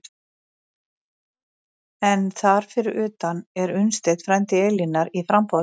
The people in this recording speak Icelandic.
En þar fyrir utan er Unnsteinn, frændi Elínar, í framboði.